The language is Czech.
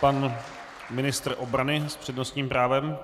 Pan ministr obrany s přednostním právem.